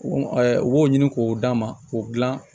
u b'o ɲini k'o d'a ma k'o dilan